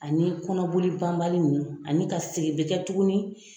Ani kɔnɔboli banbali ninnu ani ka segin bɛ kɛ tuguni